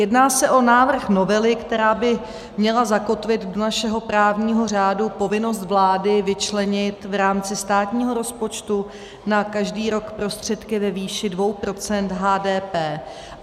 Jedná se o návrh novely, která by měla zakotvit do našeho právního řádu povinnost vlády vyčlenit v rámci státního rozpočtu na každý rok prostředky ve výši 2 % HDP.